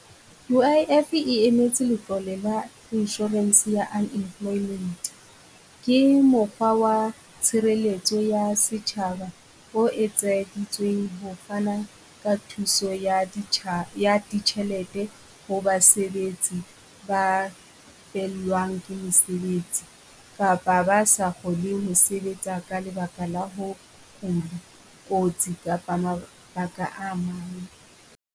U_I_F e emetse letlole la insurance ya nnemployment, ke mokgwa wa tshireletso ya setjhaba ho etseditsweng ho fana ka thuso ya ya ditjhelete ho basebetsi ba fellwang ke mosebetsi, kapa ba sa kgoneng ho sebetsa ka lebaka la ho kula, kotsi kapa mabaka a mang.